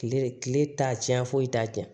Kile de kile t'a tiɲɛ foyi t'a cɛ